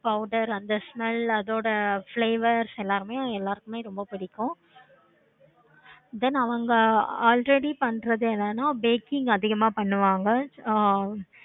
powder அந்த smell அந்த flavors எல்லாருமே எல்லாத்துக்கும் ரொம்ப பிடிக்கும். then அவங்க already பண்றது என்னென்ன baking அதிகமா பண்ணுவாங்க ஆஹ்